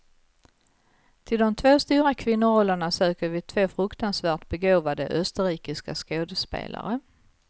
Till de två stora kvinnorollerna söker vi två fruktansvärt begåvade österrikiska skådespelare.